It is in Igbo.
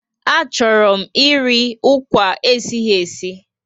A chọrọ m eri akwa esighi esi